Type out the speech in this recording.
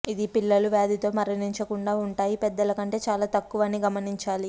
ఇది పిల్లలు వ్యాధితో మరణించకుండా ఉంటాయి పెద్దల కంటే చాలా తక్కువ అని గమనించాలి